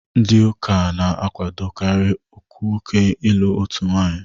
Ndị Ụka na-àkwádókarị nwoke ịlụ otu nwanyị